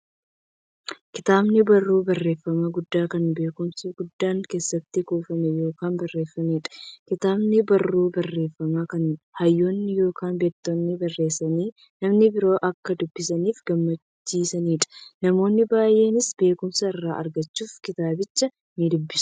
Kitaabni barruu barreeffamaa guddaa, kan beekumsi guddaan keessatti kuufame yookiin barreefameedha. Kitaabni barruu barreeffamaa, kan hayyoonni yookiin beektonni barreessanii, namni biroo akka dubbisaniif gumaachaniidha. Namoonni baay'eenis beekumsa irraa argachuuf kitaabicha nidubbisu.